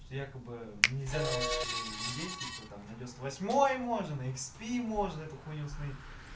якобы нельзя на вашей винде типа там на девяносто восьмой можно на икспи можно эту хуйню установить